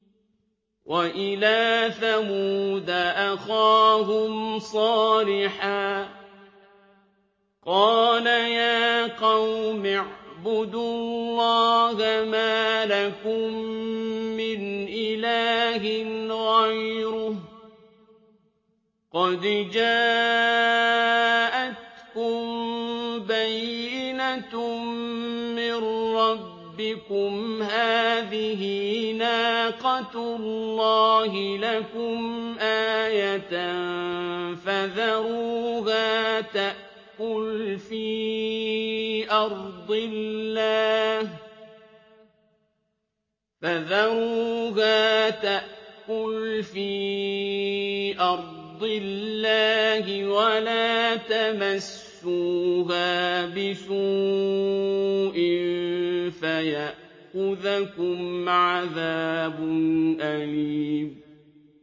وَإِلَىٰ ثَمُودَ أَخَاهُمْ صَالِحًا ۗ قَالَ يَا قَوْمِ اعْبُدُوا اللَّهَ مَا لَكُم مِّنْ إِلَٰهٍ غَيْرُهُ ۖ قَدْ جَاءَتْكُم بَيِّنَةٌ مِّن رَّبِّكُمْ ۖ هَٰذِهِ نَاقَةُ اللَّهِ لَكُمْ آيَةً ۖ فَذَرُوهَا تَأْكُلْ فِي أَرْضِ اللَّهِ ۖ وَلَا تَمَسُّوهَا بِسُوءٍ فَيَأْخُذَكُمْ عَذَابٌ أَلِيمٌ